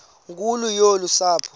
nkulu yolu sapho